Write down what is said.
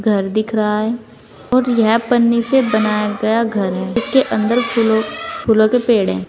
घर दिख रहा है और यह पन्नी से बनाया गया घर है इसके अंदर फूलों के पेड़ है।